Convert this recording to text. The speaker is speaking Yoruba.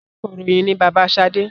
Akọròyìn ni bàbá sade